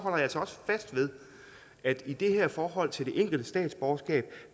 altså også fast ved at i det her forhold til det enkelte statsborgerskab